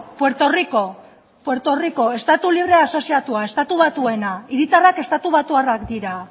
puerto rico estatu libre asoziatua estatu batueta hiritarrak estatu batuarrak dira